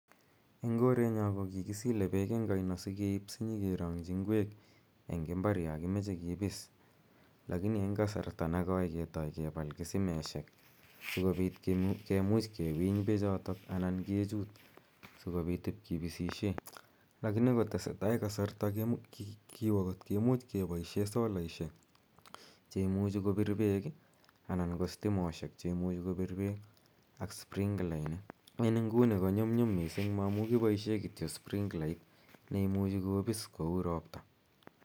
Eng' korenyo ko kikisile peek eng' aino sikeip asinyikerang'chi ngwek eng' mbar yan kimache kipis. Lakini en kasarta ne koi ketai kepal kisimeshek si kopit kimuch kiwiny pechotok anan kichuut asikopit kepaishe pechotok kipisishe. Lakini kotese tai kasarta, kiwa kot kimuch kepoishe solaishek che imuchi kopir pek anan stimoshek che imuchi kopir peek ak sprinklainik. En inguni ko nyumnyum missing' maamu kipoishe kito sprinklait ne imuch kopis kou ropta.